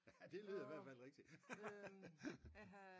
Ja det lyder i hvert fald rigtig!